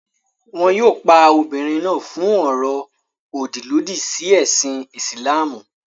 Wọn yóò pa obìnrin náà fún ọ̀rọ̀-òdì lòdì sí ẹ̀sìn Ìsìlámù.